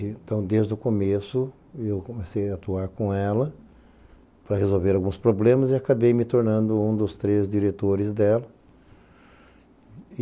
Então, desde o começo, eu comecei a atuar com ela para resolver alguns problemas e acabei me tornando um dos três diretores dela.